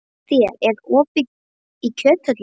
Egedía, er opið í Kjöthöllinni?